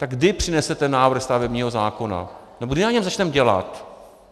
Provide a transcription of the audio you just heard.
Tak kdy přinesete návrh stavebního zákona nebo kdy na něm začneme dělat?